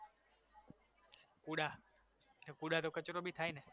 કુડા કુડા તો કચરો ભી થાય ને